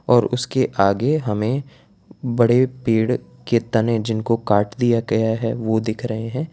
और उसके आगे हमें बड़े पेड़ के तने जिनको काट दिया गया है वो दिख रहे हैं।